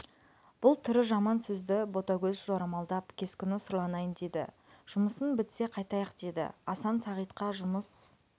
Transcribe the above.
бұл түрі жаман сөзді ботагөз жорамалдап кескіні сұрланайын деді жұмысын бітсе қайтайық деді асан сағитқа жұмыс